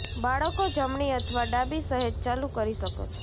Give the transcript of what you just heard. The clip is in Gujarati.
બાળકો જમણી અથવા ડાબી સહેજ ચાલુ કરી શકો છો